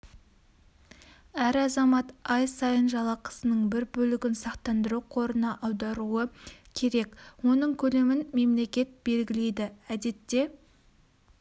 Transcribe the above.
әр азамат ай сайын жалақысының бір бөлігін сақтандыру қорына аударуы керек оның көлемін мемлекет белгілейді әдетте